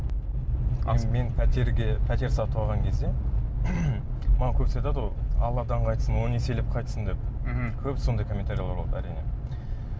мен пәтерге пәтер сатып алған кезде маған көбісі айтады ғой алладан қайтсын он еселеп қайтсын деп мхм көп сондай комментарийлер болады әрине